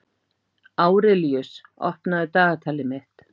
Árelíus, opnaðu dagatalið mitt.